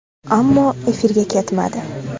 Ammo efirga ketmadi.